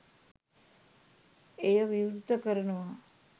එය විවෘත කරනවා.